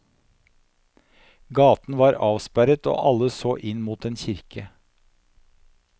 Gaten var avsperret, og alle så inn mot en kirke.